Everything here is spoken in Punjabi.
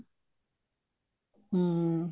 ਹਮ